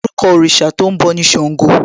Orúkọ òrìṣà tó ń bọ̀ ni Ṣàngó